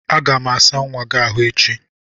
Aga m asa nwa gị ahụ echi.